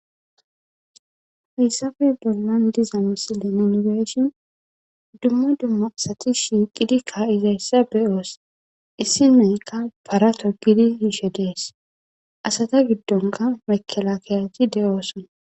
Hayssafe bollan diza misilenengeeshin dumma dumma asati shiiqidikka izayssa beyoos issi nayka para togidi hiishe dees asata giddonka makela keyajti de7ooson.